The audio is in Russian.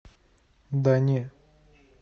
да не